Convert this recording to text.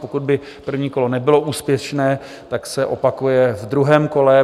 Pokud by první kolo nebylo úspěšné, tak se opakuje ve druhém kole.